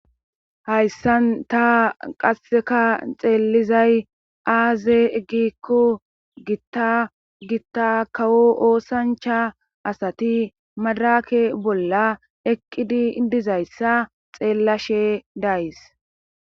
hayssan ta qasseka xeelizay aaze gikko gitta gitta kawo oosancha asati madrake bolla eqqidi dizayssa xeellashe days